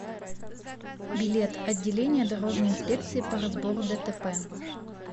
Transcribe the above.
билет отделение дорожной инспекции по разбору дтп